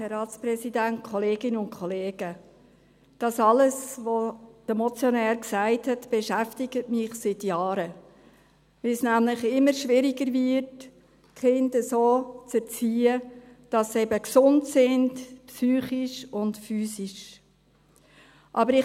Alles, was der Motionär gesagt hat, beschäftigt mich seit Jahren, da es nämlich immer schwieriger wird, die Kinder so zu erziehen, dass sie eben psychisch und physisch gesund sind.